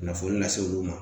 Kunnafoni lase olu ma